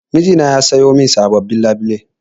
Mijina ya sayo sabobbin labule.